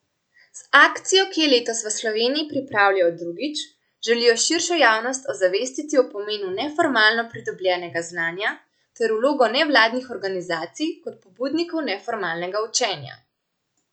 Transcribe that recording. Z akcijo, ki jo letos v Sloveniji pripravljajo drugič, želijo širšo javnost ozavestiti o pomenu neformalno pridobljenega znanja ter vlogo nevladnih organizacij kot pobudnikov neformalnega učenja.